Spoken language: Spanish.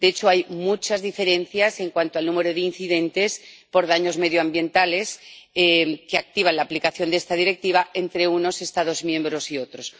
De hecho, hay muchas diferencias en cuanto al número de incidentes por daños medioambientales que activan la aplicación de esta Directiva entre unos Estados miembros y otros.